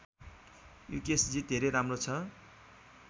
युकेशजी धेरै राम्रो छ